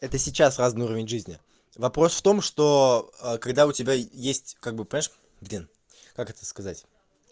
это сейчас разный уровень жизни вопрос в том что а когда у тебя есть как бы понимаешь блин как это сказать